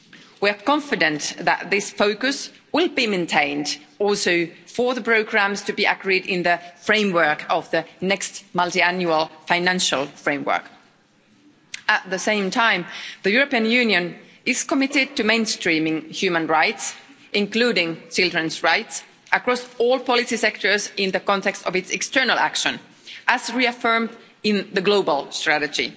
We are confident that this focus will be maintained also for the programmes to be agreed in the framework of the next multiannual financial framework. At the same time, the European Union is committed to mainstreaming human rights, including children's rights, across all policy sectors in the context of its external action, as reaffirmed in the global strategy.